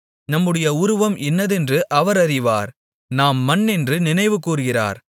நம்முடைய உருவம் இன்னதென்று அவர் அறிவார் நாம் மண்ணென்று நினைவுகூருகிறார்